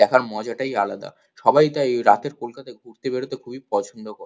দেখার মজাটাই আলাদা সবাই তাই এই রাতের কলকাতায় ঘুরতে বেরোতে খুবই পছন্দ করে।